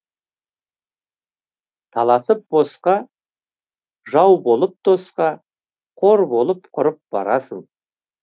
таласып босқа жау болып досқа қор болып құрып барасың